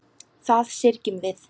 Það syrgjum við.